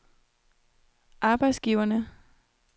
arbejdsgiverne